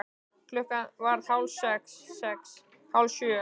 Klukkan varð hálf sex. sex. hálf sjö.